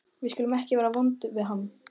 Við skulum ekki vera vond við hann.